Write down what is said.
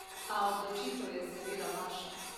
A odločitev je seveda vaša!